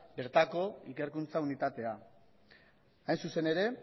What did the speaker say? bertako ikerkuntza unitatea hain zuzen ere